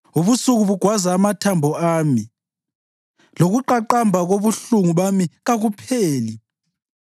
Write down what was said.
Ubusuku bugwaza amathambo ami; lokuqaqamba kobuhlungu bami kakupheli.